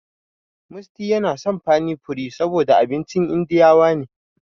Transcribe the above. Musty yana son pani puri saboda abincin indiyawa ne.